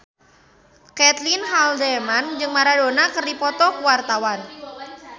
Caitlin Halderman jeung Maradona keur dipoto ku wartawan